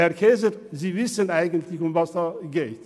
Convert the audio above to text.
Herr Käser, Sie wissen eigentlich, worum es geht.